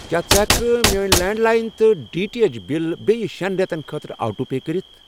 کیٛاہ ژٕ ہٮ۪کہٕ کھہ میٲنۍ لینٛڈ لایِن تہٕ ڈی ٹی ایٚچ بِلہٕ بییٚہِ شٮ۪ن رٮ۪تن خٲطرٕ آٹو پے کٔرِتھ؟